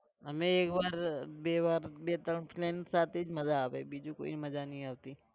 અમેં એક વાર બે વાર, બે ત્રણ friends સાથે જ માજા આવે બીજું કોઈ મજા નઈ આવતી.